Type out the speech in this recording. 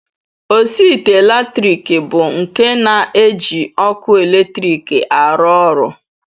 Osiite latrik bụ nke na-eji ọkụ eletrik arụ ọrụ